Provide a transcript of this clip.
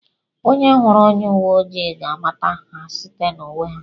Onye hụrụ onye uwe ojii ga-amata ha site n'uwe ha